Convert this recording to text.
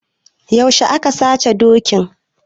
Yaushe aka sace dokin?